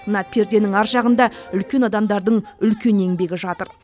мына перденің ар жағында үлкен адамдардың үлкен еңбегі жатыр